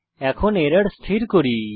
এখন এরর স্থির করি